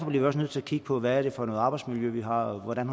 vi også nødt til at kigge på hvad for et arbejdsmiljø vi har og hvordan